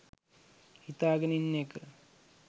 හිතාගෙන ඉන්න එක.